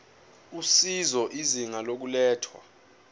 usizo izinga lokulethwa